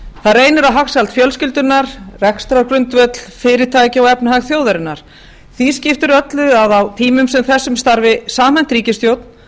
það reynir á hagsæld fjölskyldunnar rekstrargrundvöll fyrirtækja og efnahag þjóðarinnar því skiptir öllu að á tímum sem þessum starfi samhent ríkisstjórn sem